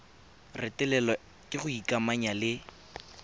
retelelwa ke go ikamanya le